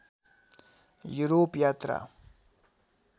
Europe यात्रा